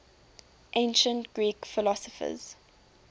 ancient greek philosophers